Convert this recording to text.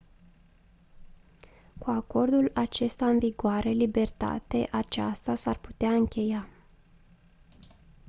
cu acordul acesta în vigoare libertate aceasta s-ar putea încheia